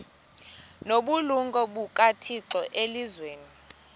nobulumko bukathixo elizwini